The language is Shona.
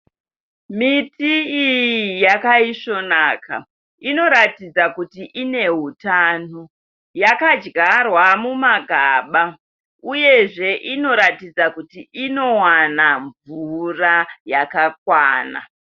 Miti iyi yakaisvonaka. Inoratidza kuti ine utano. Yakadyarwa mumagaba uyezve inoratidza kuti inowana mvura yakakwana.